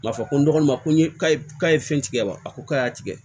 K'a fɔ ko n dɔgɔninw ma ko n ye k'a ye k'a ye fɛn tigɛ wa a ko k'a y'a tigɛ